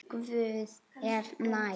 Guð er nær.